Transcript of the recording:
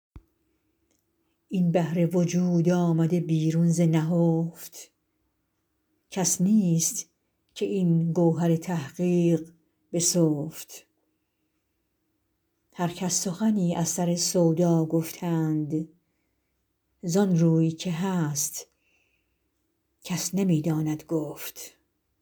این بحر وجود آمده بیرون ز نهفت کس نیست که این گوهر تحقیق بسفت هر کس سخنی از سر سودا گفتند ز آن روی که هست کس نمی داند گفت